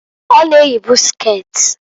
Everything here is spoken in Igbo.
Ọ na eyibu sket.